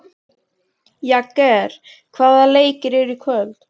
Jagger, hvaða leikir eru í kvöld?